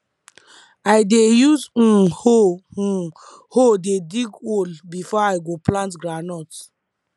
i dey use um hoe um hoe dey dig hole before i go plant groundnut